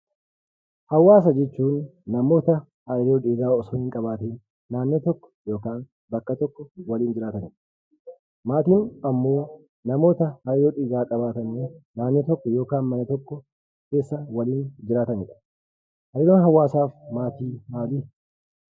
Hawaasa jechuun namoota hariiroo dhiigaa osoo hin qabaatiin naannoo tokko yookaan bakka tokko waliin jiraatanidha. Maatiin ammoo namoota hariiroo dhiigaa qabaatanii naannoo tokko yookiin mana tokko keessa waliin jiraatanidha. Hariiroon hawaasaa fi maatii maalii?